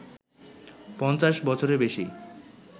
৫০ বছরের বেশি